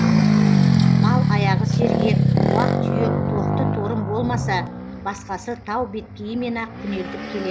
мал аяғы сергек уақ түйек тоқты торым болмаса басқасы тау беткейімен ақ күнелтіп келеді